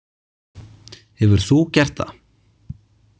Hefur þú gert það?